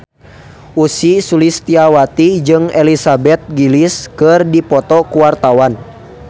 Ussy Sulistyawati jeung Elizabeth Gillies keur dipoto ku wartawan